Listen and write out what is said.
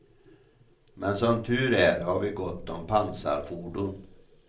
Men som tur är har vi gott om pansarfordon.